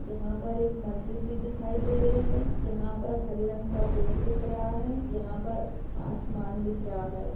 यहाँ पर एक मस्जिद भी दिखाई दे रही है यहाँ पर हरे रंग का पेड़ दिख रहा है यहाँ पर आसमान दिख रहा है।